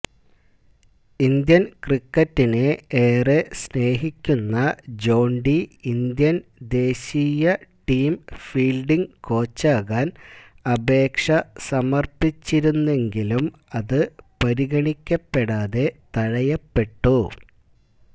Indian ക്രിക്കറ്റിനെ ഏറെ സ്നേഹിക്കുന്ന ജോണ്ടി ഇന്ത്യന് ദേശീയ ടീം ഫീല്ഡിങ് കോച്ചാകാന് അപേക്ഷ സമര്പ്പിച്ചിരുന്നെങ്കിലും അത് പരിഗണിക്കപ്പെടാതെ തഴയപ്പെട്ടു